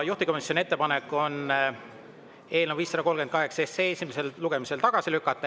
Juhtivkomisjoni ettepanek on eelnõu 538 esimesel lugemisel tagasi lükata.